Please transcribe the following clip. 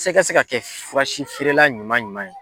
se ka se ka kɛ furasi feerela ɲuman ɲuman ye.